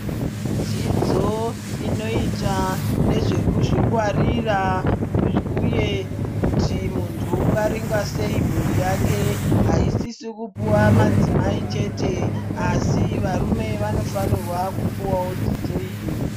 Dzidzo inoyita nezvekuzvingwarira, uye kuti muntu ungaringa seyi mhuri yake, haisisi kupuwa madzimai chete asi varume vanofanirwa kupuwawo dzidzo iyi.